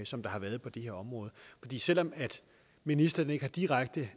som der har været på det her område selv om ministeren ikke har direkte